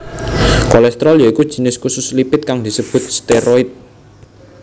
Kolesterol ya iku jinis khusus lipid kang disebut steroid